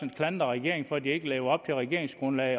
klandre regeringen for at de ikke lever op til regeringsgrundlaget